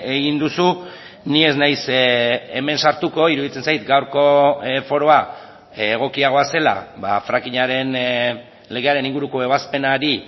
egin duzu ni ez naiz hemen sartuko iruditzen zait gaurko foroa egokiagoa zela frackingaren legearen inguruko ebazpenari